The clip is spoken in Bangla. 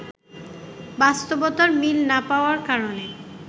বাস্তবতার মিল না পাওয়ার কারণে